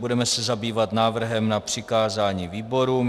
Budeme se zabývat návrhem na přikázání výborům.